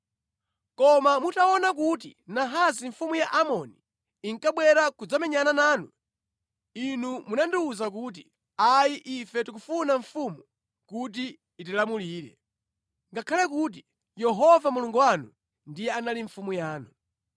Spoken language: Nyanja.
“Koma mutaona kuti Nahasi mfumu ya Amoni inkabwera kudzamenyana nanu, inu munandiwuza kuti, ‘Ayi, ife tikufuna mfumu kuti itilamulire,’ ngakhale kuti Yehova Mulungu wanu ndiye anali mfumu yanu.